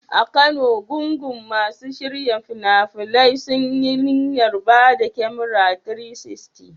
A Kano, gungun masu shirya fina-finai sun yi niyyar haɗa kyamarori 360.